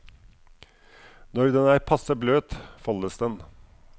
Når den er passe bløt, foldes den.